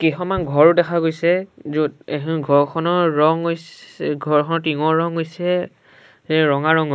কেইখনমান ঘৰ দেখা গৈছে য'ত এইখন ঘৰখনৰ ৰং হইছে ঘৰখন টিংঙৰ ৰং হৈছে ৰঙা ৰঙৰ।